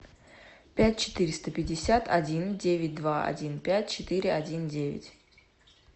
пять четыреста пятьдесят один девять два один пять четыре один девять